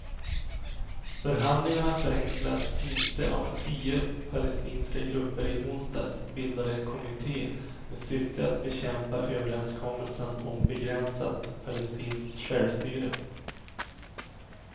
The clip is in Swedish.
Förhandlingarna förenklas inte av att tio palestinska grupper i onsdags bildade en kommitté med syfte att bekämpa överenskommelsen om begränsat palestinskt självstyre.